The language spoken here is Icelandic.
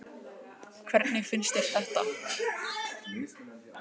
Jóhannes: Hvernig finnst þér þetta?